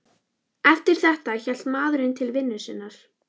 Eftir þetta hélt maðurinn til vinnu sinnar.